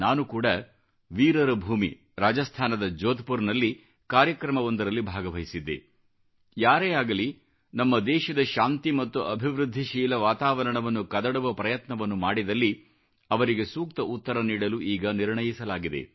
ನಾನು ಕೂಡ ವೀರರ ಭೂಮಿ ರಾಜಸ್ಥಾನದ ಜೋಧ್ಪುಪರದಲ್ಲಿ ಕಾರ್ಯಕ್ರಮವೊಂದರಲ್ಲಿ ಭಾಗವಹಿಸಿದ್ದೆ ಯಾರೇ ಆಗಲಿ ನಮ್ಮ ದೇಶದ ಶಾಂತಿ ಮತ್ತು ಅಭಿವೃದ್ಧಿಶೀಲ ವಾತಾವರಣವನ್ನು ಕದಡುವ ಪ್ರಯತ್ನವನ್ನು ಮಾಡಿದಲ್ಲಿ ಅವರಿಗೆ ಸೂಕ್ತ ಉತ್ತರ ನೀಡಲು ಈಗ ನಿರ್ಣಯಿಸಲಾಗಿದೆ